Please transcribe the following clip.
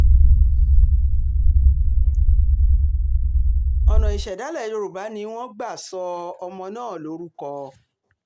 ọ̀nà ìṣẹ̀dálẹ̀ yorùbá ni wọ́n um gbà sọ ọmọ náà lórúkọ um